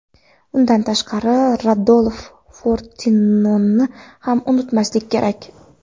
Undan tashqari Rodolf Fortinoni ham unutmaslik kerak.